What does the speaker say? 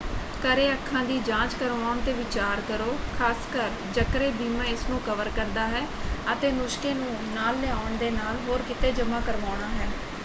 ਘਰੇ ਅੱਖਾਂ ਦੀ ਜਾਂਚ ਕਰਵਾਉਣ 'ਤੇ ਵਿਚਾਰ ਕਰੋ ਖ਼ਾਸਕਰ ਜਕਰੇ ਬੀਮਾ ਇਸ ਨੂੰ ਕਵਰ ਕਰਦਾ ਹੈ ਅਤੇ ਨੁਸਖ਼ੇ ਨੂੰ ਨਾਲ ਲਿਆਉਣ ਦੇ ਨਾਲ ਹੋਰ ਕਿਤੇ ਜਮ੍ਹਾਂ ਕਰਵਾਉਣਾ ਹੈ।